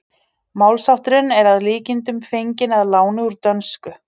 Málshátturinn er að líkindum fenginn að láni úr dönsku.